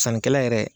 Sannikɛla yɛrɛ